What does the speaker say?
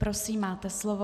Prosím, máte slovo.